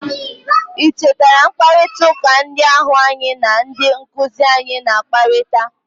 i cheta mkparịta ụka ndị ahụ anyi na ndị nkuzi anyị na-akparịta?